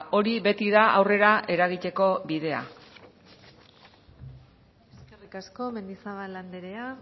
hori beti da aurrera eragiteko bidea eskerrik asko mendizabal andrea